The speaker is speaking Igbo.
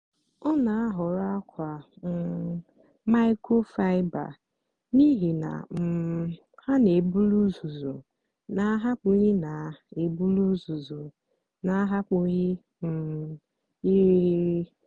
ọ na-àhọ̀rọ̀ àkwà um máịkrofáịbà n’ihí na um ha na-èbùlì ùzùzù na-àhapụ́ghị́ na-èbùlì ùzùzù na-àhapụ́ghị́ um ìrìghirì.